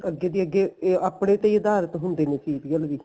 ਅੱਗੇ ਤੇ ਅੱਗੇ ਇਹ ਆਪਣੇ ਤੇ ਅਧਾਰਿਤ ਹੁੰਦੇ ਨੇ serial ਵੀ